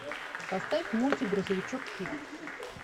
поставь мультик грузовичок пик